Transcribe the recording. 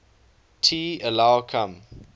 t allow come